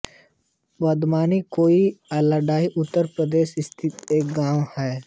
बदवामनी कोइल अलीगढ़ उत्तर प्रदेश स्थित एक गाँव है